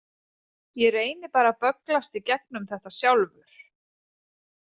Ég reyni bara að bögglast í gegnum þetta sjálfur.